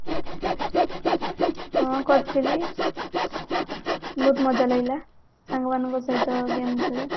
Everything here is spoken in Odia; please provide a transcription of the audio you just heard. ହଁ କରିଥିଲି ବହୁତ ମଜା ଲାଗିଲା ସାଙ୍ଗ ମାନଙ୍କ ସହିତ game ଖେଳି